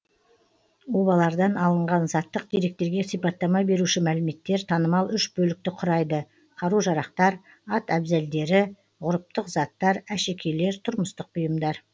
обалардан алынған заттық деректерге сипаттама беруші мәліметтер танымал үш бөлікті құрайды қару жарақтар ат әбзелдері ғұрыптық заттар әшекейлер тұрмыстық бұйымдар